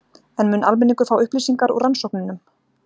En mun almenningur fá upplýsingar úr rannsóknunum?